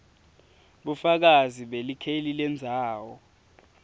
bufakazi belikheli lendzawo